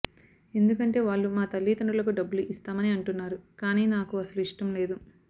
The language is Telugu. ఎందుకంటే వాళ్లు మా తల్లిదండ్రులకు డబ్బులు ఇస్తామని అంటున్నారు కాని నాకు అసలు ఇష్టం లేదు